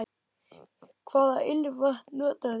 Hvaða ilmvatn notar þú?